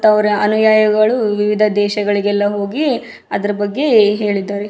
ಅವರ ಅನುಯಾಯಿಗಳು ವಿವಿಧ ದೇಶಗಳಿಗೆಲ್ಲ ಹೋಗಿ ಅದ್ರ ಬಗ್ಗೆ ಹೇಳಿದ್ದಾರೆ.